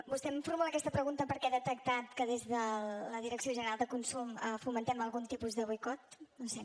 vostè em formula aquesta pregunta perquè ha detectat que des de la direcció de consum fomentem algun tipus de boicot no ho sé